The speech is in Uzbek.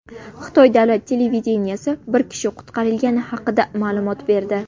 Xitoy davlat televideniyesi bir kishi qutqarilgani haqida ma’lumot berdi.